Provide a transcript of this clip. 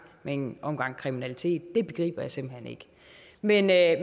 med en omgang kriminalitet det begriber jeg simpelt hen ikke men jeg